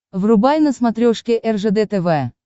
врубай на смотрешке ржд тв